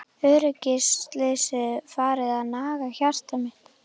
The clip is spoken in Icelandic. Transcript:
Öryggisleysið farið að naga hjarta mitt.